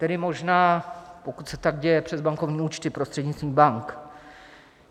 Tedy možná, pokud se tak děje přes bankovní účty prostřednictvím bank.